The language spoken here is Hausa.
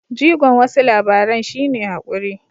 Jigon wasu labaran shi ne haƙuri.